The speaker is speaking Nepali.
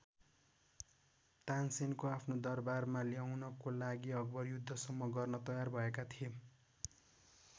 तानसेनको आफ्नो दरबारमा ल्याउनको लागि अकबर युद्धसम्म गर्नलाई तयार भएका थिए।